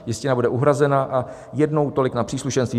Jistina bude uhrazena a jednou tolik na příslušenství.